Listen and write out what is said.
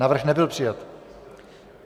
Návrh nebyl přijat.